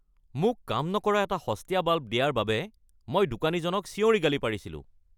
মোক কাম নকৰা এটা সস্তীয়া বাল্ব দিয়াৰ বাবে মই দোকানীজনক চিঞৰি গালি পাৰিছিলোঁ।